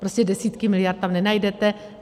Prostě desítky miliard tam nenajdete.